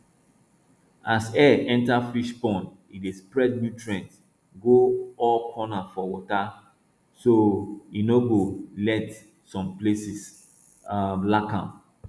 as air enta fish pond e dey spread nutrients go all corner for water so e no go let some places um lack am